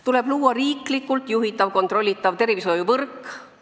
Tuleb luua riiklikult juhitav ja kontrollitav tervishoiuvõrk.